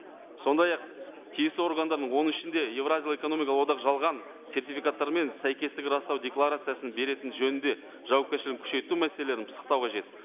сондай ақ тиісті органдардың оның ішінде еуразиялық экономикалық одақ жалған сертификаттар мен сәйкестігін растау декларациясын беретіні жөнінде жауапкершілігін күшейту мәселелерін пысықтау қажет